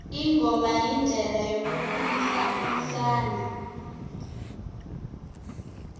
ingoma yindlela yokukhulisa umsana